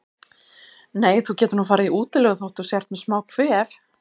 Nei, þú getur nú farið í útilegu þótt þú sért með smá kvef.